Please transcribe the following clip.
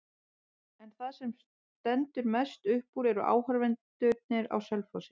En það sem stendur mest upp úr eru áhorfendurnir á Selfossi.